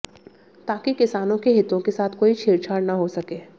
ताकि किसानों के हितों के साथ कोई छेड़छाड़ न हो सके